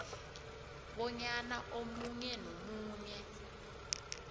bonyana omunye nomunye